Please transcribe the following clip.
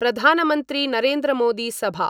Pradhan Mantri Narendra Modi Sabha